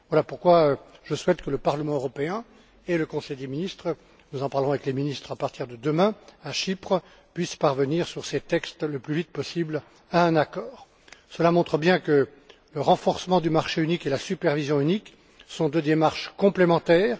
Voilà pourquoi je souhaite que le Parlement européen et le Conseil des ministres nous en parlerons avec les ministres à partir de demain à Chypre puissent parvenir le plus vite possible à un accord sur ces textes. Cela montre bien que le renforcement du marché unique et la supervision unique sont deux démarches complémentaires.